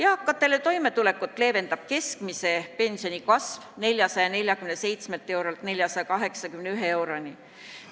Eakate toimetulekut leevendab keskmise pensioni kasv 447 eurolt 481 euroni.